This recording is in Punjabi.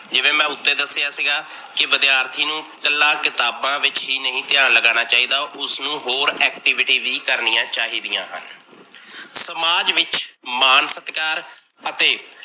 ਜਿਵੇਂ ਮੈ ਉੱਤੇ ਦਸਿਆ ਸੀਗਾ ਕੀ ਵਿਦਿਆਰਥੀ ਨੂੰ ਇਕੱਲਾ ਕਿਤਾਬਾ ਵਿੱਚ ਹੀ ਨਹੀਂ ਧਿਆਨ ਲੱਗਣ ਚਾਹੀਦਾ, ਉਸਨੂ ਹੋਰ activity ਵੀ ਕਰਨੀਆ ਚਾਹੀਦੀਆਂ ਹਨ। ਸਮਾਜ ਵਿੱਚ ਮਾਨ ਸਤਿਕਾਰ ਅਤੇ